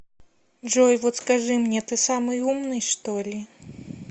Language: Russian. джой вот скажи мне ты самый умный что ли